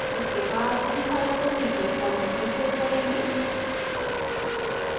इसके बाद हम फाइल को pdf format में सेव करेंगे